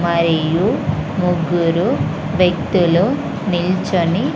మరియు ముగ్గురు వ్యక్తులు నిల్చొని--